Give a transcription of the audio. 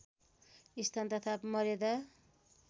स्थान तथा मर्यादा